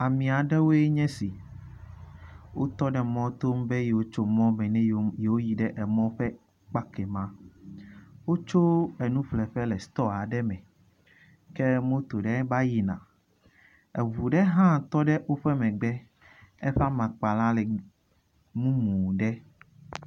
Ame aɖewoe nye esi. Wotɔ ɖe mɔto be yewo tso mɔ be ne yewo yewo yi ɖe emɔ ƒe kpa kemɛ. Wotso enu ƒleƒe le stɔ aɖe me ke moto ɖe va yina. Eŋu ɖe hã tɔ ɖe woƒe megbe eƒe amakpa la le mumu ɖe.